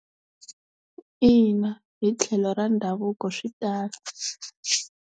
Ina hi tlhelo ra ndhavuko swi tano.